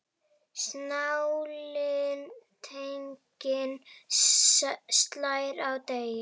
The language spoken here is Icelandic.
Sláninn teiginn slær á degi.